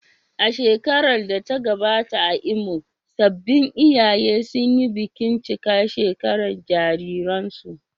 A shekarar da ta gabata a Imo, sabbin iyaye sun yi bikin cika shekara jaririnsu.